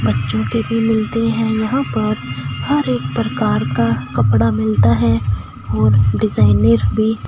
बच्चों के भी मिलते है यहां पर हर एक प्रकार का कपड़ा मिलता है और डिजाइनर भी--